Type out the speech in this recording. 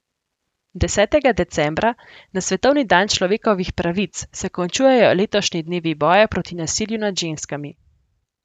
Desetega decembra, na svetovni dan človekovih pravic, se končujejo letošnji dnevi boja proti nasilju nad ženskami.